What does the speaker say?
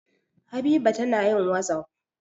Habiba tana yin wasapp.